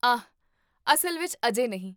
ਆਹ, ਅਸਲ ਵਿੱਚ ਅਜੇ ਨਹੀਂ